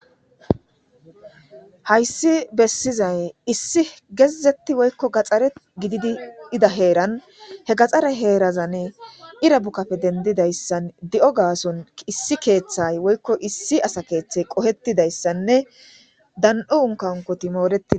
Hayssi bessizay issi gezetti woykko gaxxare gididi ida heeran he gaxxare heerazane irabukkafe dendidayssan di'o gaason issi keeththay woykko issi asa keeththey qohetidayssanne dan'u unkankoti mooreii.